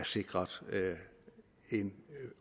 sikret en